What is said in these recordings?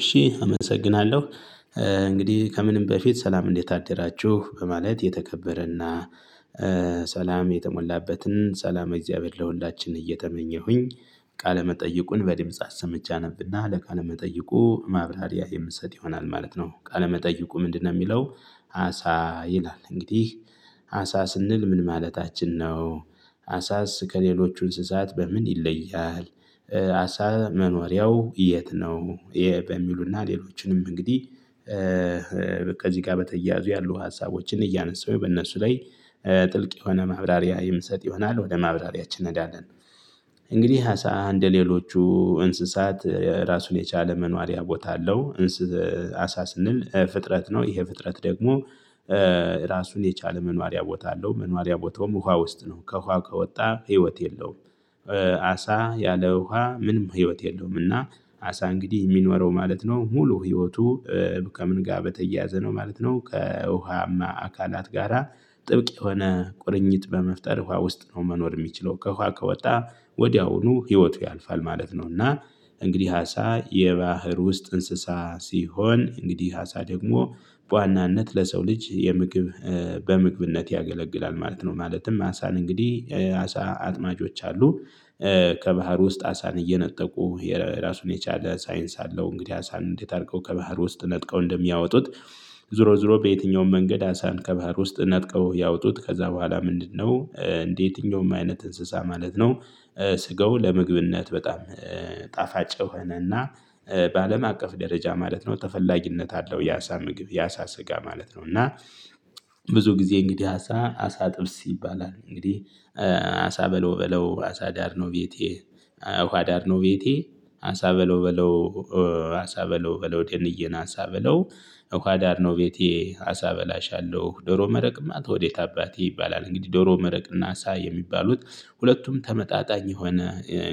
እሺ አመሰግናለሁ። እንግዲህ ከምንም በፊት ሰላም እንዴት አደራችሁ በማለት የተከበረና ሰላም የተሞላበትን ሰላም እግዚአብሔር ለሁላችን እየተመኘሁኝ። ቃለ መጠይቁን በድምጽ አሰምቼ አነብና ለቃለመጠይቁ ማብራሪያ የምሰጥ ይሆናል ማለት ነው ቃለመጠይቁ ምንድነው የሚለው? አሳ ይላል እንግዲህ። አሳ ስንል ምን ማለታችን ነው? አሳስ ከሌሎቹ እንስሳት በምን ይለያል? አሳ መኖሪያው የት ነው ይሄ በሚሉና ሌሎችንም እንግዲህ። በቃ እዚህ ጋር በተያያዙ ያሉ ሀሳቦችን እያነሳሁ በእነሱ ላይ። ጥልቅ የሆነ ማብራሪያ የምንሰጥ ይሆናል ወደ ማብራሪያችን እንዳለን። እንግዲህ አሳ እንደሌሎቹ እንስሳት ራሱን የቻለ መኖሪያ ቦታ አለው። አሳ ስንል ፍጥረት ነው ይሄ ፍጥረት ደግሞ። ራሱን የቻለ መኖሪያ ቦታ አለው መኖሪያ ቦታውም ውሃ ውስጥ ነው ከውሃ ከወጣ ህይወት የለውም። አሳ ያለ ውሃ ምንም ህይወት የለውምና። አሳ እንግዲህ የሚኖረው ማለት ነው ሙሉ ህይወቱ። ከምን ጋር በተያያዘ ነው ማለት ነው? ከውሃማ አካላት ጋራ ጥብቅ የሆነ ቁርኝት በመፍጠር ውሃ ውስጥ ነው መኖር የሚችለው ከእኳ ከወጣ ወዲያውኑ ህይወቱ ያልፋል ማለት ነው። እና እንግዲህ አሳ የባህር ውስጥ እንስሳ ሲሆን እንግዲህ አሳ ደግሞ በዋናነት ለሰው ልጅ የምግብ በምግብነት ያገለግላል ማለት ነው። ማለትም አሳን እንግዲህ አሳ አጥማጆች አሉ። ከባህር ውስጥ አሳን እየነጠቁ የራሱን የቻለ ሳይንስ አለው። እንግዲህ አሳን እንዴት አድርገው ከባህር ውስጥ ነጥቀው እንደሚያወጡት? ዞሮ ዞሮ በየትኛውም መንገድ አሳን ከባህር ውስጥ ነጥቀው ያወጡት ከዛ በኋላ ምንድነው እንደየትኛውም አይነት እንስሳ ማለት ነው? ስጋው ለምግብነት በጣም ጣፋጭ ሆነና በአለም አቀፍ ደረጃ ማለት ነው ተፈላጊነት አለው። የአሳ ምግብ ያሳ ስጋ ማለት ነው። እና ብዙ ጊዜ እንግዲህ አሳ አሳ ጥብስ ይባላል እንግዲህ። አሳ በለው በለው አሳ ዳር ነው። ውሃ ዳር ነው ቤቴ አሳ በለው በለው አሳ በለው በለው ደንዬን አንሳ በለው። እኮ አዳር ነው ቤቴ አሳ በላሻለሁ ዶሮ መረቅማት ወዴት አባቴ ይባላል እንግዲህ ዶሮ መረቅና እሳ የሚባሉት ሁለቱም ተመጣጣኝ የሆነ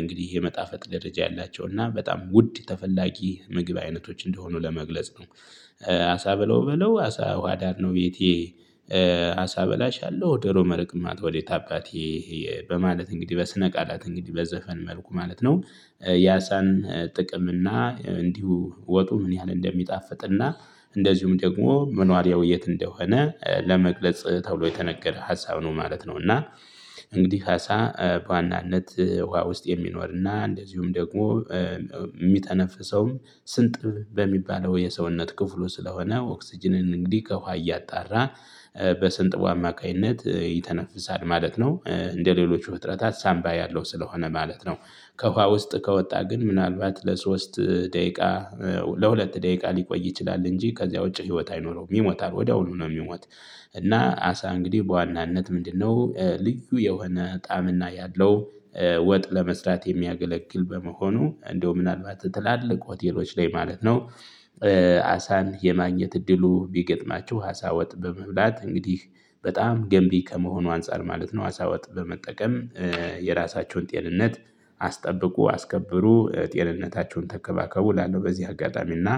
እንግዲህ የመጣፈጥ ደረጃ ያላቸው እና በጣም ውድ ተፈላጊ ምግብ አይነቶች እንደሆኑ ለመግለጽ ነው። አሳ ብለው ብለው አሳ ውሃ ዳር ነው ቤቴ። አሳ በላሽ አለው ደሮ መርቅማ ተወዴት አባቴ። በማለት እንግዲህ በስነ ቃላት እንግዲህ በዘፈን መልኩ ማለት ነው። ያሳን ጥቅም እና እንዲሁ ወጡ ምን ያህል እንደሚጣፍጥና እንደዚሁም ደግሞ መኖሪያው የት እንደሆነ ለመግለጽ ተብሎ የተነገረ ሀሳብ ነው ማለት ነው። እና እንግዲህ ሀሳ በዋናነት ውሃ ውስጥ የሚኖርና እንደዚሁም ደግሞ የሚተነፍሰውም ስንጥብ በሚባለው የሰውነት ክፍሉ ስለሆነ ኦክስጅንን እንግዲህ ከውሃ እያጣራ በስንጥቡ አማካኝነት ይተነፍሳል ማለት ነው። እንደሌሎቹ ፍጥረታት ሳምባ ያለው ስለሆነ ማለት ነው። ከውሃ ውስጥ ከወጣ ግን ምናልባት ለሶስት ደቂቃ ለሁለት ደቂቃ ሊቆይ ይችላል እንጂ ከዚያ ውጪ ህይወት አይኖረውም ይሞታል ወዲያውኑ ነው የሚሞት። እና አሳ እንግዲህ በዋናነት ምንድነው ልዩ የሆነ ጣዕምና ያለው? ወጥ ለመስራት የሚያገለግል በመሆኑ እንደው ምናልባት ትላልቅ ሆቴሎች ላይ ማለት ነው። አሳን የማግኘት እድሉ ቢገጥማችሁ አሳ ወጥ በመብላት እንግዲህ በጣም ገንቢ ከመሆኑ አንፃር ማለት ነው አሳ ወጥ በመጠቀም። የራሳችሁን ጤንነት አስጠብቁ አስከብሩ ጤንነታቸውን ተከባከቡ እላለሁ። በዚህ አጋጣሚና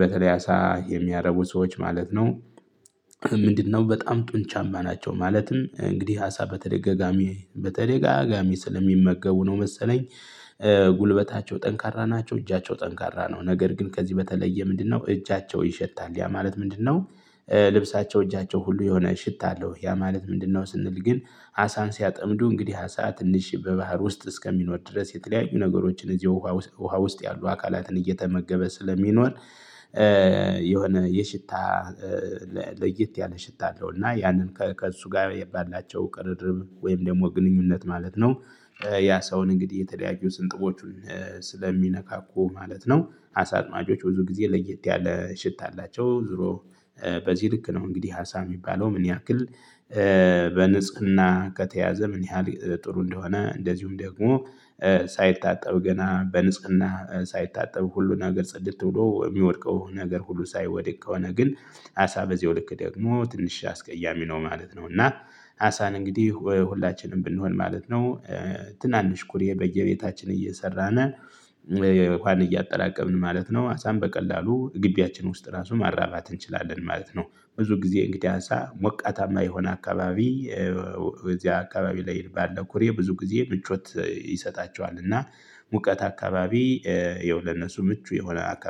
በተለይ አሳ የሚያረቡ ሰዎች ማለት ነው። ምንድነው በጣም ጡንቻማ ናቸው ማለትም እንግዲህ አሳ በተደጋጋሚ በተደጋጋሚ ስለሚመገቡ ነው መሰለኝ። ጉልበታቸው ጠንካራ ናቸው እጃቸው ጠንካራ ነው። ነገር ግን ከዚህ በተለየ ምንድነው እጃቸው ይሸታል ያ ማለት ምንድነው? ልብሳቸው እጃቸው ሁሉ የሆነ ሽታ አለው። ያ ማለት ምንድነው? ስንል ግን አሳን ሲያጠምዱ እንግዲህ አሳ ትንሽ በባህር ውስጥ እስከሚኖር ድረስ የተለያዩ ነገሮችን እዚህ ውሃ ውስጥ ያሉ አካላትን እየተመገበ ስለሚኖር የሆነ የሽታ ለየት ያለ ሽታ አለው እና ያንን ከእሱ ጋር የባላቸው ቅርርብ ወይም ደግሞ ግንኙነት ማለት ነው። ያ ሰውን እንግዲህ የተለያየ ስንጥቦቹን ማለት ነው። አሳ አጥማጮች ብዙ ጊዜ ለየት ያለ ሽታ አላቸው። ዞሮ በዚህ ልክ ነው። እንግዲህ ሀሳብ የሚባለው ምን ያክል? በንጽህና ከተያዘ ምን ያህል ጥሩ እንደሆነ እንደዚሁም ደግሞ ሳይታጠብ ገና በንጽህና ሳይታጠብ ሁሉን ነገር ጽድት ብሎ የሚወድቀው ነገር ሁሉ ሳይወድቅ ከሆነ ግን? አሳ በዜው ልክ ደግሞ ትንሽ አስቀያሚ ነው ማለት ነው። እና አሳን እንግዲህ ሁላችንም ብንሆን ማለት ነው። ትናንሽ ኩሬ በየቤታችን እየሰራን እንኳን እያጠራቀምን ማለት ነው አሳን በቀላሉ ግቢያችን ውስጥ ራሱ ማራባት እንችላለን ማለት ነው። ብዙ ጊዜ እንግዲህ አንሳ ሞቃታማ የሆነ አካባቢ እዚያ አካባቢ ላይ ባለው ኩሬ ብዙ ጊዜ ምቾት ይሰጣቸዋል። እና ሙቀት አካባቢ ይኸው ለነሱ ምቹ የሆነ